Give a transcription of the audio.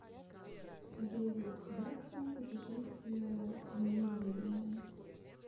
дэвид бекхэм путешествие в неизведанное